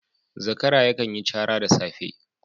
Zakara yakan yi cara da safe